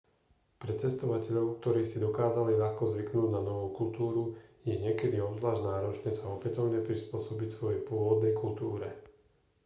pre cestovateľov ktorí si dokázali ľahko zvyknúť na novú kultúru je niekedy obzvlášť náročné sa opätovne prispôsobiť svojej pôvodnej kultúre